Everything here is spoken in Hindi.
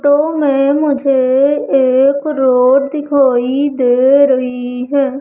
टो में मुझे एक रोड दिखाई दे रही है।